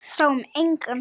Sáum engan.